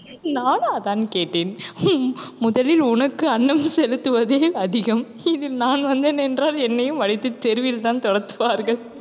நானும் அதான் கேட்டேன்? முதலில் உனக்கு அன்னம் செலுத்துவதே அதிகம் இதில் நான் வந்தேனென்றால் என்னையும் வளைத்து தெருவில்தான் துரத்துவார்கள்.